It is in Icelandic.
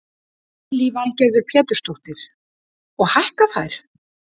Lillý Valgerður Pétursdóttir: Og hækka þær?